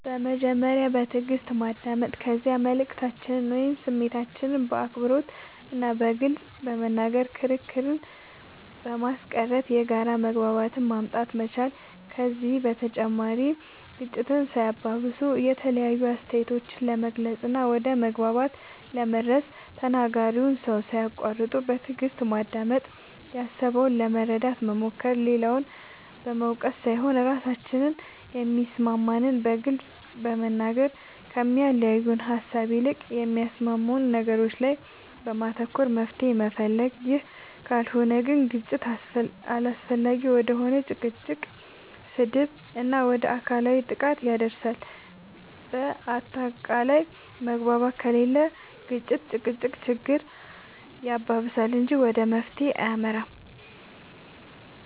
በመጀመሪያ በትእግስት ማዳመጥ ከዚያ መልእክታችንን ወይም ስሜታችንን በአክብሮት እና በግልፅ በመናገር ክርክርን በማስቀረት የጋራ መግባባትን ማምጣት መቻል ከዚህ በተጨማሪ ግጭትን ሳያባብሱ የተለያዩ አስተያየቶችን ለመግለፅ እና ወደ መግባባት ለመድረስ ተናጋሪውን ሰው ሳያቁዋርጡ በትእግስት ማዳመጥ ያሰበውን ለመረዳት መሞከር, ሌላውን በመውቀስ ሳይሆን ራሳችን የሚሰማንን በግልፅ መናገር, ከሚያለያየን ሃሳብ ይልቅ በሚያስማሙን ነገሮች ላይ በማተኮር መፍትሄ መፈለግ ይህ ካልሆነ ግን ግጭት አላስፈላጊ ወደ ሆነ ጭቅጭቅ, ስድብ እና ወደ አካላዊ ጥቃት ያደርሳል በአታቃላይ መግባባት ከሌለ ግጭት(ጭቅጭቅ)ችግር ያባብሳል እንጂ ወደ መፍትሄ አይመራም